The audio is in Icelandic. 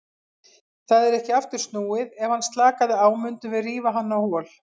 Það er ekki aftur snúið, ef hann slakaði á mundum við rífa hann á hol.